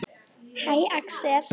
Hæ, Axel.